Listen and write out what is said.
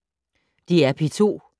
DR P2